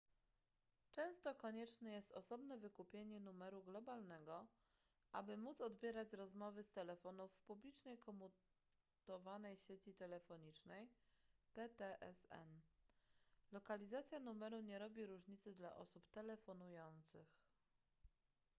często konieczne jest osobne wykupienie numeru globalnego aby móc odbierać rozmowy z telefonów w publicznej komutowanej sieci telefonicznej ptsn. lokalizacja numeru nie robi różnicy dla osób telefonujących